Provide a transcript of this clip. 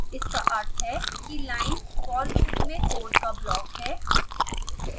इसका अर्थ है कि लाइन for loop में कोड का ब्लॉक है